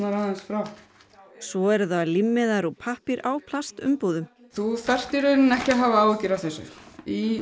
aðeins frá svo eru það límmiðar úr pappír á plastumbúðum þú þarft í rauninni ekki að hafa áhyggjur af þessu í